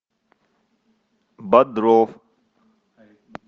бодров